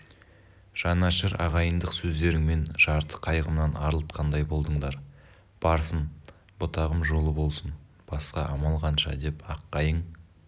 жанашыр ағайындық сөздеріңмен жарты қайғымнан арылтқандай болдыңдар барсын бұтағым жолы болсын басқа амал қанша деп аққайың